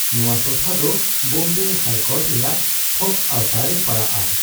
ᱱᱚᱣᱟ ᱴᱚᱴᱷᱟ ᱫᱚ ᱵᱳᱢᱵᱮ ᱦᱟᱭᱠᱳᱨᱴ ᱨᱮᱭᱟᱜ ᱦᱚᱠ ᱟᱣᱛᱟᱨᱮ ᱯᱟᱲᱟᱜᱼᱟ ᱾